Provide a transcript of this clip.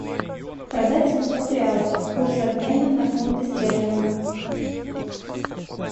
продать семьсот реалов курс обмена на фунты стерлинга